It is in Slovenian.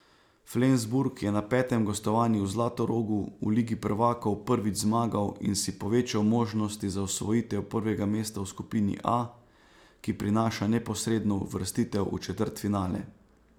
Flensburg je na petem gostovanju v Zlatorogu v ligi prvakov prvič zmagal in si povečal možnosti za osvojitev prvega mesta v skupini A, ki prinaša neposredno uvrstitev v četrtfinale.